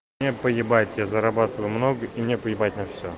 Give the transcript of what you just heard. мне поебать я зарабатываю много и не поебать на все